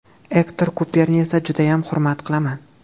Ektor Kuperni esa judayam hurmat qilaman.